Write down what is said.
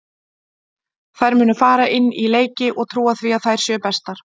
Þær munu fara inn í leiki og trúa því að þær séu bestar.